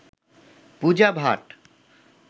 Puja Bhatt